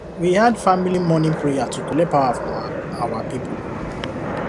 we add family morning prayer to collect power from our our people